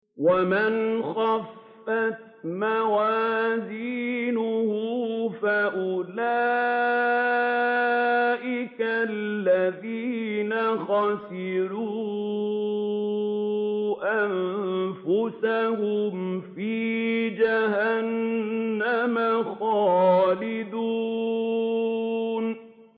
وَمَنْ خَفَّتْ مَوَازِينُهُ فَأُولَٰئِكَ الَّذِينَ خَسِرُوا أَنفُسَهُمْ فِي جَهَنَّمَ خَالِدُونَ